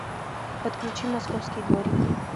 подключи московский дворик